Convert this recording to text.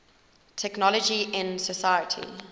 technology in society